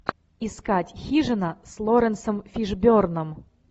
искать хижина с лоренсом фишберном